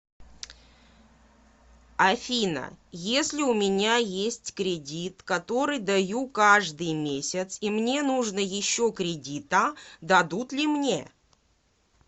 афина если у меня есть кредит который даю каждый месяц и мне нужно еще кредита дадут ли мне